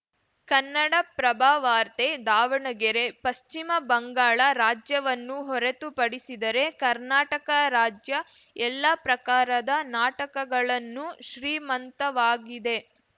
ಕನ್ನಡಪ್ರಭವಾರ್ತೆ ದಾವಣಗೆರೆ ಪಶ್ಚಿಮ ಬಂಗಾಳ ರಾಜ್ಯವನ್ನು ಹೊರತು ಪಡಿಸಿದರೆ ಕರ್ನಾಟಕ ರಾಜ್ಯ ಎಲ್ಲಾ ಪ್ರಕಾರದ ನಾಟಕಗಳನ್ನೂ ಶ್ರೀಮಂತವಾಗಿದೆ